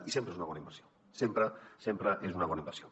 i sempre és una bona inversió sempre sempre és una bona inversió